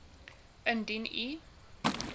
indien u